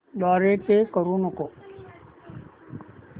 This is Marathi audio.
द्वारे पे करू नको